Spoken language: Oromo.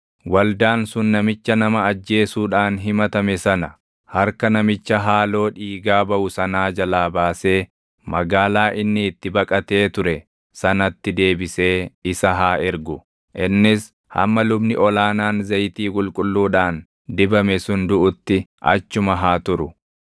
Waldaan sun namicha nama ajjeesuudhaan himatame sana harka namicha haaloo dhiigaa baʼu sanaa jalaa baasee magaalaa inni itti baqatee ture sanatti deebisee isa haa ergu. Innis hamma lubni ol aanaan zayitii qulqulluudhaan dibame sun duʼutti achuma haa turu.